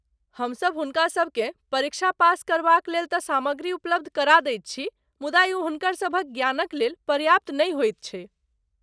हमसब हुनकासबकेँ परीक्षा पास करबाक लेल तँ सामग्री उपलब्ध करा दैत छी मुदा ई हुनकरसभक ज्ञानक लेल पर्याप्त नहि होइत छै।